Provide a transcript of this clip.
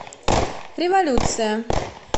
революция